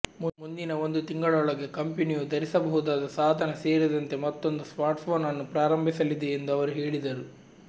ಮುಂದಿನ ಒಂದು ತಿಂಗಳೊಳಗೆ ಕಂಪೆನಿಯು ಧರಿಸಬಹುದಾದ ಸಾಧನ ಸೇರಿದಂತೆ ಮತ್ತೊಂದು ಸ್ಮಾರ್ಟ್ಫೋನ್ ಅನ್ನು ಪ್ರಾರಂಭಿಸಲಿದೆ ಎಂದು ಅವರು ಹೇಳಿದರು